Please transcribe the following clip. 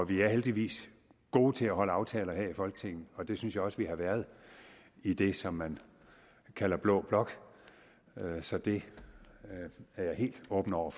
vi er heldigvis gode til at holde aftaler her i folketinget og det synes jeg også vi har været i det som man kalder blå blok så det er jeg helt åben over